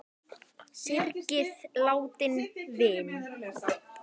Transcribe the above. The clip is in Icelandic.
Syrgið látinn vin!